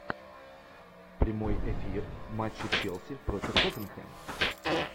прямой эфир матча челси против тоттенхэм